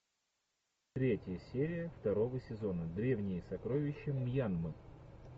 третья серия второго сезона древние сокровища мьянмы